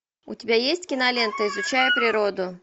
у тебя есть кинолента изучая природу